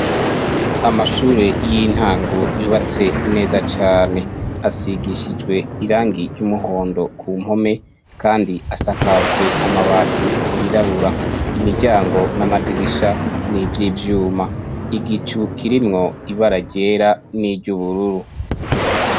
Amashure y'intango yubatswe neza cane. Asigishijwe irangi ry'umuhondo kumpome, kandi asakajwe amabati yirabura. Imiryango n'amadirisha ni ivy'ivyuma. Igicu kirimwo ibara ryera n'iry'ubururu.